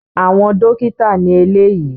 Àwọn dókítà ni eléyìí